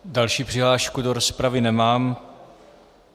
Další přihlášku do rozpravy nemám.